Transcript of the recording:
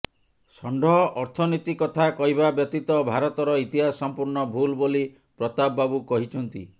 ଷଣ୍ଢ ଅର୍ଥନୀତି କଥା କହିବା ବ୍ୟତୀତ ଭାରତର ଇତିହାସ ସଂପୂର୍ଣ୍ଣ ଭୁଲ ବୋଲି ପ୍ରତାପ ବାବୁ କହିଛନ୍ତି